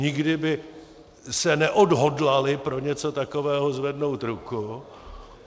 Nikdy by se neodhodlali pro něco takového zvednout ruku.